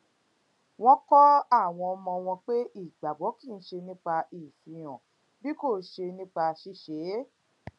wón kó àwọn ọmọ wọn pé ìgbàgbó kì í ṣe nípa ìfarahàn bí kò ṣe nípa ṣíṣe é